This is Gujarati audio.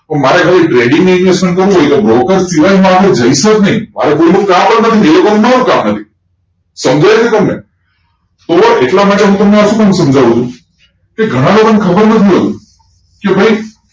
ઓ મારે ખાલી trading માં investment કરવી હોય તો બ્રોકર શીવાય માં આપડે જેસુજ નહિ મારે કોઈ નુ કામ નથી બીજું જોડે કામ હે ભાઈ સમજાયઈગયું તમને તો એટલા માટે હું તમે સમજાઉં ચુ કે ઘણા લોકો ને ખબર નથી હોતું કે ભાઈ